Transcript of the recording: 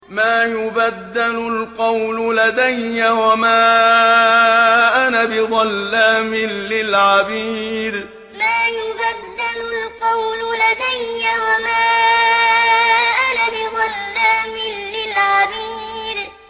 مَا يُبَدَّلُ الْقَوْلُ لَدَيَّ وَمَا أَنَا بِظَلَّامٍ لِّلْعَبِيدِ مَا يُبَدَّلُ الْقَوْلُ لَدَيَّ وَمَا أَنَا بِظَلَّامٍ لِّلْعَبِيدِ